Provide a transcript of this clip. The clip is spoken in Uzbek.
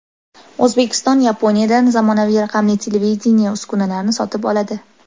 O‘zbekiston Yaponiyadan zamonaviy raqamli televideniye uskunalarini sotib oladi.